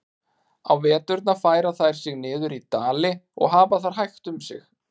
Á veturna færa þær sig niður í dali og hafa þar hægt um sig.